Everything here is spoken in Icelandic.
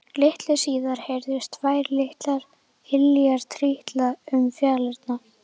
Litlu síðar heyrðust tvær litlar iljar trítla um fjalirnar.